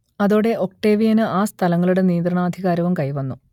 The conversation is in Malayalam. അതോടെ ഒക്ടേവിയന് ആ സ്ഥലങ്ങളുടെ നിയന്ത്രണാധികാരവും കൈവന്നു